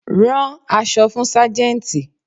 Rán aṣọ fún Sájẹ́ntì.